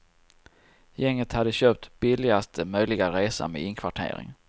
Gänget hade köpt billigaste möjliga resa med inkvartering.